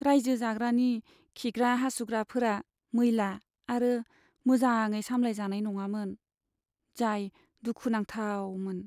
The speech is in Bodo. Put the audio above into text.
रायजो राजानि खिग्रा हासुग्राफोरा मैला आरो मोजाङै सामलायजानाय नङामोन, जाय दुखुनांथावमोन।